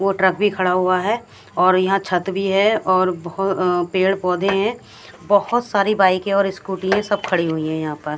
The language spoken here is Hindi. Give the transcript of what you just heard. और ट्रक भी खड़ा हुआ है और यहां छत भी है और पेड़ पौधे हैं बोहोत सारी बाइकें और स्कूटी है ये सब खड़ी है यहां पर--